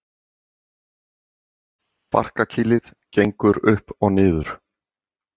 Barkakýlið gekk upp og niður.